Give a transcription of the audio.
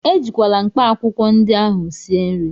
Ejikwala mkpaakwụkwọ ndị ahụ sie nri!